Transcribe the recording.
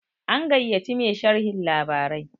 an gaiya ci Mai sharhon labarai